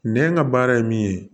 Nɛ ka baara ye min ye